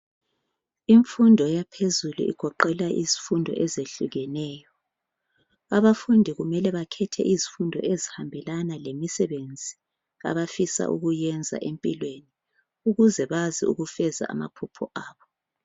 Imfundo yaphezulu igoqela izifundo ezehlukeneyo. Abafundi kumele bakhethe izifundo ezihambelana lemisebenzi abafuna ukuyenza empilweni. Ukuze bazi ukufeza amaphupho abo.